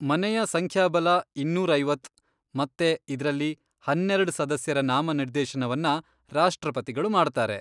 ಮನೆಯ ಸಂಖ್ಯಾಬಲ ಇನ್ನೂರ್ ಐವತ್ತ್, ಮತ್ತೆ ಇದ್ರಲ್ಲಿ ಹನ್ನೆರೆಡ್ ಸದಸ್ಯರ ನಾಮನಿರ್ದೇಶನವನ್ನ ರಾಷ್ಟ್ರಪತಿಗಳು ಮಾಡ್ತಾರೆ.